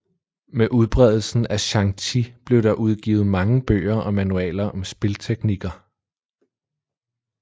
Med udbredelsen af xiangqi blev der udgivet mange bøger og manualer om spilteknikker